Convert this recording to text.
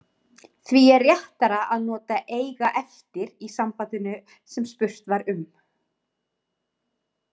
Því er réttara að nota eiga eftir í sambandinu sem spurt var um.